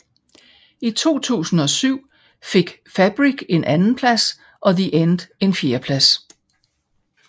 I 2007 fik Fabric en andenplads og The End en fjerdeplads